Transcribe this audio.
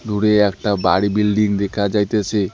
দূরে একটা বাড়ি বিল্ডিং দেখা যাইতেসে।